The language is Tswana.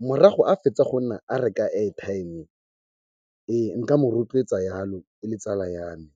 Morago a fetsa go nna a reka airtime, ee nka mo rotloetsa jalo e le tsala ya me.